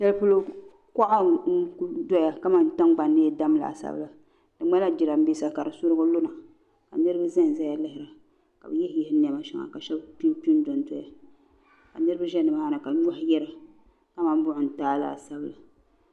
Kuɣa n kuli doya kaman tingbani ni yi dam laasabu la di ŋmanila jirambisa kadi surigi luna ka niriba zan zaya lihira ka bɛ yihi yihi ninvuɣu sheba ka sheba kpinkpi n dondoya ka niriba ʒɛnʒɛya ka nyohi yira ka mani buɣim n taagi laasabu la.